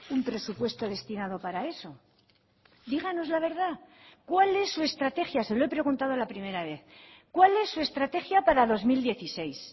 un presupuesto destinado para eso díganos la verdad cuál es su estrategia se lo he preguntado la primera vez cuál es su estrategia para dos mil dieciséis